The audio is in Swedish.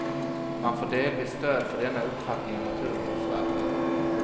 Man får delvis stöd för denna uppfattning av naturvårdsverket.